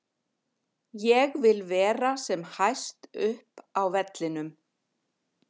Ég vil vera sem hæst upp á vellinum.